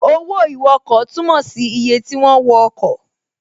Owó ìwọkọ̀ túnmọ̀ sí iye ti wọ́n wọ ọkọ̀